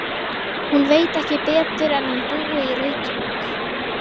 Hún veit ekki betur en hann búi í Reykjavík.